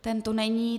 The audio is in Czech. Ten tu není.